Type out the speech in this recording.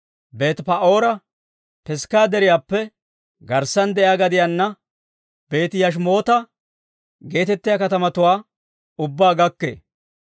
Beeti-Pa'oora, Pisgga Deriyaappe garssana de'iyaa gadiyanne Beeti-Yashimoota geetettiyaa katamatuwaa ubbaa gakkee.